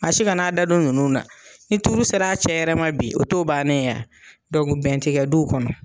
Maa si ka n'a dadon nunnu da ni tuuru sera cɛ yɛrɛ ma bi o to bannen ye bɛn tigɛ du kɔnɔ